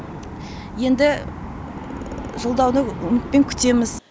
енді жолдауды үмітпен күтеміз